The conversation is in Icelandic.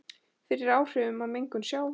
fyrir áhrifum af mengun sjávar.